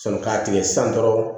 Sɔn k'a tigɛ san dɔrɔn